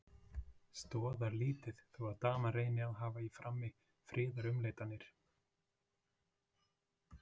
Stoðar lítið þó að daman reyni að hafa í frammi friðarumleitanir.